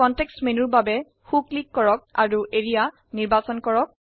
context মেনুৰ বাবে সো ক্লিক কৰক অৰু এৰিয়া নিৰ্বাচন কৰক